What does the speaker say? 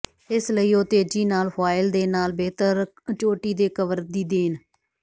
ਇਸ ਲਈ ਉਹ ਤੇਜ਼ੀ ਨਾਲ ਫੁਆਇਲ ਦੇ ਨਾਲ ਬਿਹਤਰ ਚੋਟੀ ਦੇ ਕਵਰ ਦੀ ਦੇਣ